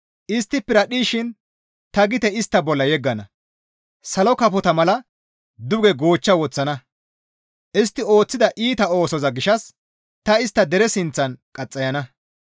Istti piradhdhishin ta gite istta bolla yeggana; salo kafota mala duge goochcha woththana; istti ooththida iita ooso gishshas ta istta dere sinththan qaxxayana.